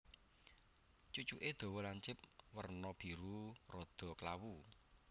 Cucuké dawa lancip werna biru rada klawu